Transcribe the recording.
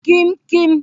kim kim